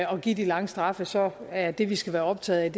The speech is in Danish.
give de lange straffe så er det vi skal være optaget